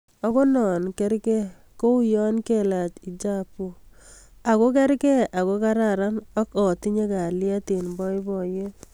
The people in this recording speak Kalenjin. Ako no ko karkei ko u yo kalach hijabu akakerkei akararan ak atinye kalyet ing boiboyet.